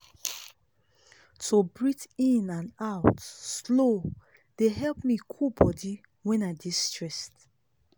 to breathe in and out slow dey help me cool body when i dey stressed.